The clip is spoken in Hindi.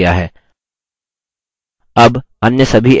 font का आकार बदल गया है